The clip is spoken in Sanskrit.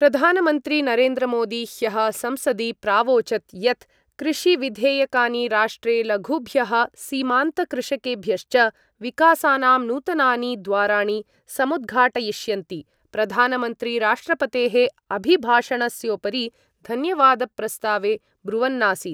प्रधानमन्त्री नरेन्द्रमोदी ह्यः संसदि प्रावोचत् यत् कृषिविधेयकानि राष्ट्रे लघुभ्यः सीमान्तकृषकेभ्यश्च विकासानां नूतनानि द्वाराणि समुद्घाटयिष्यन्ति प्रधानमन्त्री राष्ट्रपतेः अभिभाषणस्योपरि धन्यवादप्रस्तावे ब्रुवन्नासीत्।